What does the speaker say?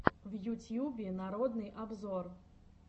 в ютьюбе народный обзор